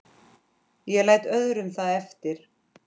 Ég læt öðrum það eftir.